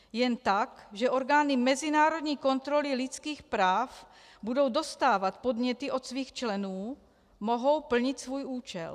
Jen tak, že orgány mezinárodní kontroly lidských práv budou dostávat podněty od svých členů, mohou plnit svůj účel.